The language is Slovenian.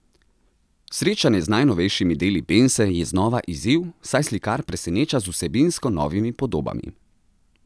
Srečanje z najnovejšimi deli Bense je znova izziv, saj slikar preseneča z vsebinsko novimi podobami.